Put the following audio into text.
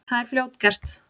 Það er fljótgert.